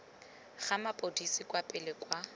ga mapodisi kwa pele kwa